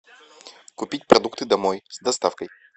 купить продукты домой с доставкой